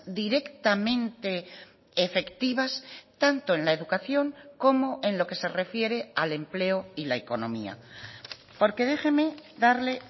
directamente efectivas tanto en la educación como en lo que se refiere al empleo y la economía porque déjeme darle